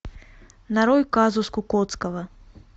нарой казус кукоцкого